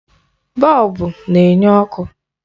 Bọlbụ na-enye ọkụ.